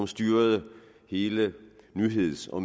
styrede hele nyheds og